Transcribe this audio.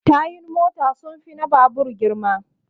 Tayun mota sun fi na babur girma